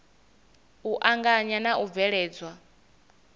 u anganya na u bveledzwa